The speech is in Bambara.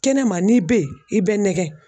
Kɛnɛma n'i bɛ ye i bɛ nɛgɛ.